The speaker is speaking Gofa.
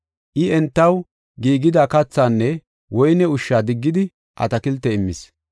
I, entaw giigida kathaanne woyne ushsha diggidi atakilte immis.